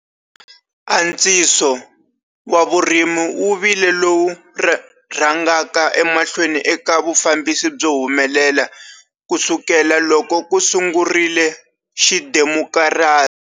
Antswiso wa vurimi wu vile lowu rhangaka emahlweni eka vufambisi byo humelela kusukela loko ku sungurile xidemokirasi.